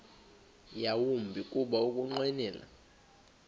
yawumbi kuba ukunqwenela